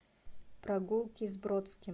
прогулки с бродским